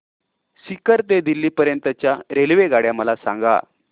सीकर ते दिल्ली पर्यंत च्या रेल्वेगाड्या मला सांगा